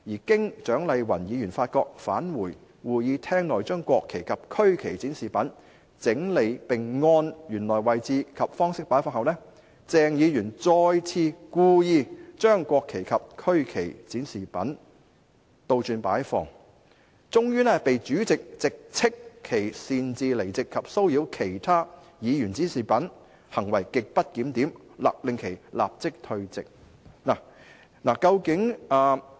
經蔣麗芸議員發覺，返回會議廳內將國旗及區旗展示品整理並按原來位置及方式擺放後，鄭議員再次故意將國旗及區旗展示品倒轉擺放，終被主席直斥其擅自離席及騷擾其他議員展示物品，行為極不檢點，勒令其立即退席"。